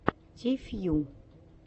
ти фью